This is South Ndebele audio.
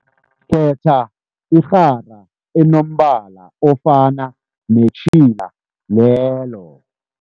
Khetha irhara enombala ofana netjhila lelo.